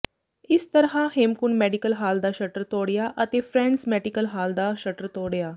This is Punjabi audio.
ਇਸ ਤਰ੍ਹਾਂ ਹੇਮਕੁੰਟ ਮੈਡੀਕਲ ਹਾਲ ਦਾ ਸ਼ਟਰ ਤੋੜਿਆ ਅਤੇ ਫਰੈਂਡਜ਼ ਮੈਡੀਕਲ ਦਾ ਸ਼ਟਰ ਤੋੜਿਆ